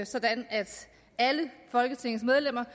sådan at alle folketingets medlemmer